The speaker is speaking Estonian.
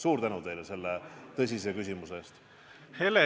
Suur tänu teile selle tõsise küsimuse eest!